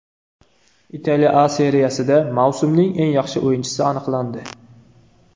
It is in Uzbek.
Italiya A Seriyasida mavsumning eng yaxshi o‘yinchisi aniqlandi.